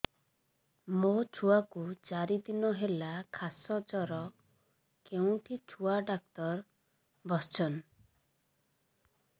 ମୋ ଛୁଆ କୁ ଚାରି ଦିନ ହେଲା ଖାସ ଜର କେଉଁଠି ଛୁଆ ଡାକ୍ତର ଵସ୍ଛନ୍